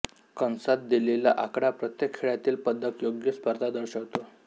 कंसात दिलेला आकडा प्रत्येक खेळातील पदकयोग्य स्पर्धा दर्शवतो